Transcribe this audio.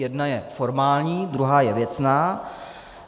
Jedna je formální, druhá je věcná.